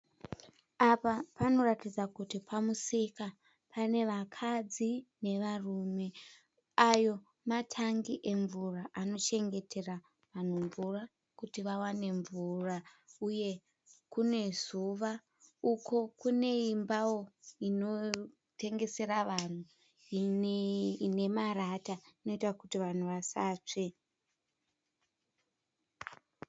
Apa panoratidza kuti pamusika. Pane vakadzi nevarume. Ayo matangi emvura anochengetera vanhu mvura kuti wawane mvura uye kune zuva. Uko kune imbawo inotengesera vanhu ine marata inoita kuti vanhu vasatsve.